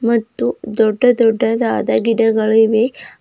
ಮತ್ತು ದೊಡ್ಡ ದೊಡ್ಡದಾದ ಗಿಡಗಳು ಇವೆ.